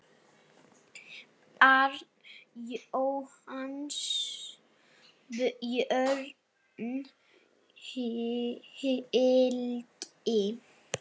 Barn Jóhanns Björn Helgi.